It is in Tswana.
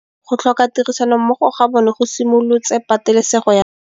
Go tlhoka tirsanommogo ga bone go simolotse patêlêsêgô ya ntwa.